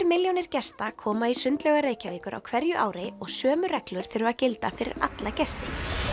milljónir gesta koma í sundlaugar Reykjavíkur á hverju ári og sömu reglur þurfa að gilda fyrir alla gesti